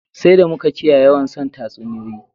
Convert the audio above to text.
Sai d amu ka kiyaye yawan son tasuniyoyi